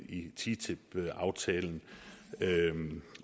i ttip aftalen